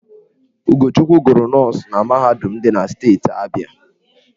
Ugochukwu gụrụ nọọsụ na mahadum dị na steeti Abịa.